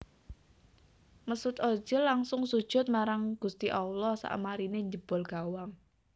Mesut Ozil langsung sujud marang gusti Allah sakmarine njebol gawang